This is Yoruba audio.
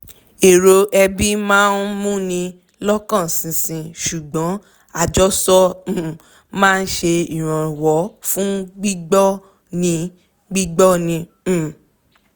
èrò ẹbí máa ń mú ni lọkan ṣinṣin ṣùgbọ́n àjọsọ um máa ń ṣe ìrànwọ́ fún gbígbọ́ ni gbígbọ́ ni um